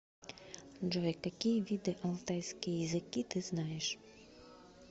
джой какие виды алтайские языки ты знаешь